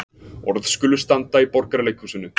Orð skulu standa í Borgarleikhúsinu